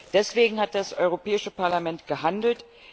Deswegen hat das Europäische Parlament gehandelt.